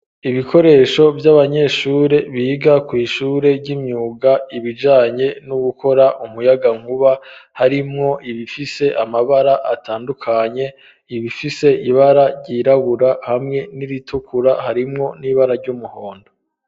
Ibikoresho vy'abanyeshure ,biga ku ishure ry'imyuga ,ibijanye no gukora umuyagankuba ,harimwo ibifise amabara atandukanye, ibifise ibara ryirabura, hamwe n'iritukura ,harimwo n'ibara ry'umuhondo.